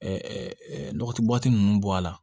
nɔgɔti ninnu bɔ a la